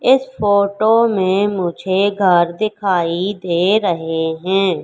इस फोटो में मुझे घर दिखाई दे रहे हैं।